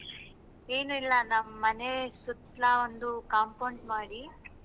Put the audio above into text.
ಏನು ಇಲ್ಲ ನಮ್ಮೆನೆ ಸುತ್ಲಾ ಒಂದು compound ಮಾಡಿ.